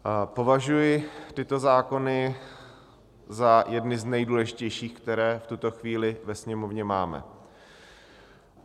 Považuji tyto zákony za jedny z nejdůležitějších, které v tuto chvíli ve Sněmovně máme.